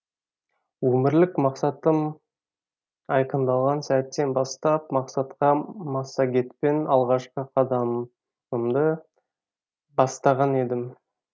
өмірлік мақсатым айқындалған сәттен бастап мақсатқа массагетпен алғашқы қадамымды бастаған едім